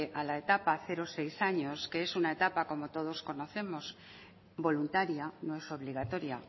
a la etapa cero seis años que es una etapa como todos conocemos voluntaria no es obligatoria